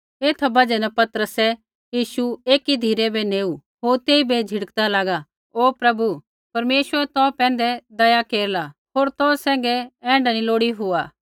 एथा बजहा न पतरसै यीशु एकी धिरै नेऊ होर तेइबै झ़िड़कदा लागा ओ प्रभु परमेश्वर तौ पैंधै दया केरला होर तौ सैंघै ऐण्ढा नी लोड़ी हुआ